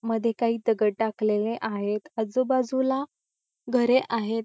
मध्ये काही दगड टाकलेले आहेत आजूबाजूला घरे आहेत.